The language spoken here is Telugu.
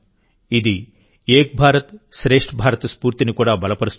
ఇది ఏక్ భారత్శ్రేష్ఠ్ భారత్ స్ఫూర్తిని కూడా బలపరుస్తుంది